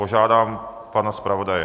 Požádám pana zpravodaje.